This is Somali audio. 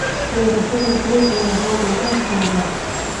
Beerashada galleyda ayaa roob lagu beeraa.